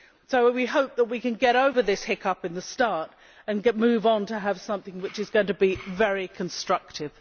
So we hope that we can get over this hiccup at the start and move on to have something that is going to be very constructive.